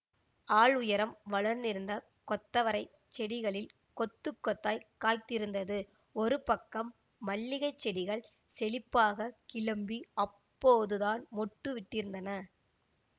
ஆள் உயரம் வளர்ந்திருந்த கொத்தவரைச் செடிகளில் கொத்துக்கொத்தாய்க் காய்த்திருந்தது ஒரு பக்கம் மல்லிகைச் செடிகள் செழிப்பாகக் கிளம்பி அப்போதுதான் மொட்டுவிட்டிருந்தன